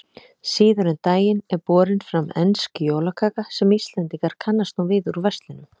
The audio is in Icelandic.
Síðar um daginn er borin fram ensk jólakaka sem Íslendingar kannast nú við úr verslunum.